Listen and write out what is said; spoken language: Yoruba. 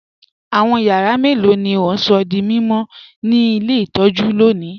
Awọn yàrà mẹ́lọ̀ ni o n sọ̀ dí mímọ̀ ni ilẹ̀ itọ̀jú lónì?